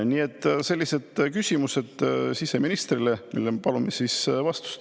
Nii et sellised küsimused siseministrile, millele me palume vastust.